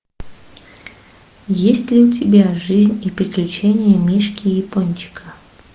есть ли у тебя жизнь и приключения мишки япончика